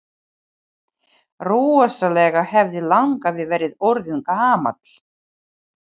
Rosalega hefði langafi verið orðinn gamall!